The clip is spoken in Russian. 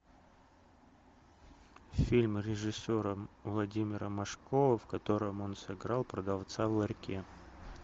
фильм режиссера владимира машкова в котором он сыграл продавца в ларьке